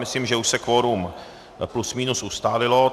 Myslím, že už se kvorum plus minus ustálilo.